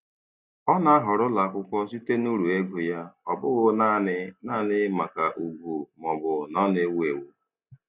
Ọ na-ahọrọ ụlọakwụkwọ site n'uru ego ya, ọ bụghị naanị naanị maka ugwu maọbụ na ọ na-ewu ewu.